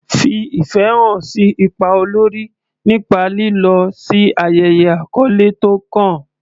Fi ìfẹ́ hàn sí ipa olórí nípa lílọ sí ayẹyẹ àkọ́lé tó kàn.